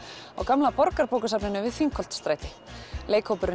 á gamla Borgarbókasafninu við Þingholtsstræti